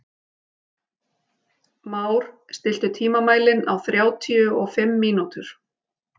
Már, stilltu tímamælinn á þrjátíu og fimm mínútur.